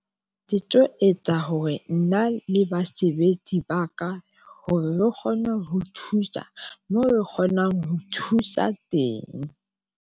Ke tlo etsa hore nna le basebetsi ba ka hore re kgone ho thusa moo re kgonang ho thusa teng.